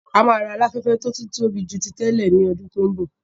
A máa ra Aláfẹ́fẹ́ tó tún tóbi ju ti tẹ́lẹ̀ ní ọdún tó ń bọ̀